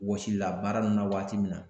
Wɔsilila baara nunni na waati min na